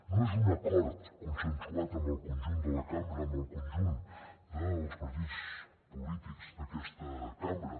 no és un acord consensuat amb el conjunt de la cambra amb el conjunt dels partits polítics d’aquesta cambra